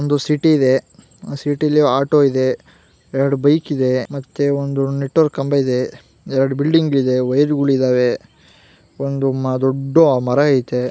ಒಂದು ಸಿಟಿ ಇದೆ ಆ ಸಿಟಿ ಅಲ್ಲಿ ಆಟು ಇದೆ ಎರ್ಡ್ ಬೈಕ್ ಇದೆ ಮತ್ತೆ ಒಂದು ನೆಟ್ವರ್ಕ್ ಖಂಬ ಇದೆ ಎರ್ಡ್ ಬಿಲ್ಡಿಂಗ್ ಇದೆ ವೈರ್ ಒಳ್ಳಿದ್ದಾವೆ ಒಂದು ದೊಡ್ಡ್ ಮರ ಇದೆ.